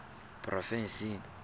porofensing